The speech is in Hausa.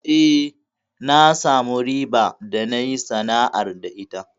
Eh, na samu riba da nayi sana'ar da ita.